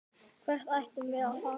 Hvert ættum við að fara?